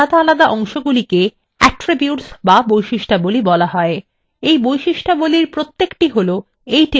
এই বৈশিষ্ট্যাবলীর প্রত্যেকটি হলো এই table সম্ভাব্য column